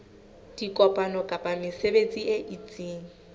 dikopano kapa mesebetsi e itseng